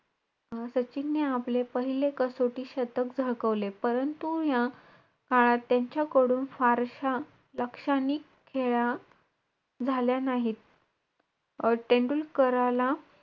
अं सचिनने आपले पहिले कसोटी शतक झळकवले. परंतु या काळात, त्यांच्याकडून फारश्या लाक्षणिक खेळ्या झाल्या नाहीत. अं तेंडुलकराला,